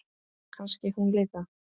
Kannski hún líka?